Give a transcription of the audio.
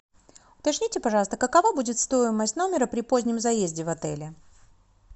уточните пожалуйста какова будет стоимость номера при позднем заезде в отеле